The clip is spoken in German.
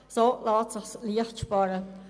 so lässt es sich leicht sparen.